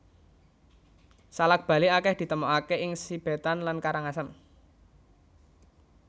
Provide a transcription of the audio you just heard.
Salak Bali akèh ditemokaké ing Sibetan lan Karangasem